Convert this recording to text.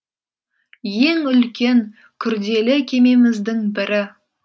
ең үлкен күрделі кемеміздің бірі